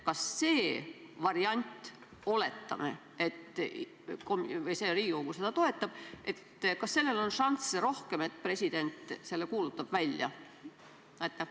Kas sellel eelnõu variandil – oletame, et Riigikogu seda toetab – on rohkem šansse selleks, et president selle välja kuulutab?